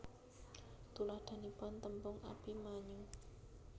Tuladhanipun tembung Abimanyu